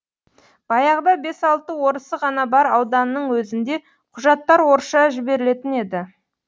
баяғыда бес алты орысы ғана бар ауданның өзінде құжаттар орысша жіберілетін еді